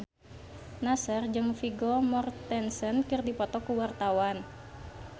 Nassar jeung Vigo Mortensen keur dipoto ku wartawan